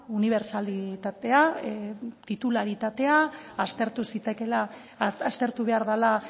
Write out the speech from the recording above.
unibertsalitatea titularitatea aztertu zitekeela aztertu behar dela